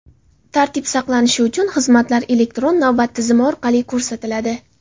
Tartib saqlanishi uchun, xizmatlar elektron navbat tizimi orqali ko‘rsatiladi.